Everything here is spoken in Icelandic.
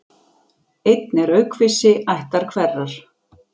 Einn er aukvisi ættar hverrar.